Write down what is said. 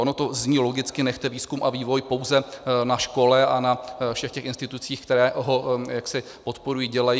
Ono to zní logicky - nechte výzkum a vývoj pouze na škole a na všech těch institucích, které ho jaksi podporují, dělají.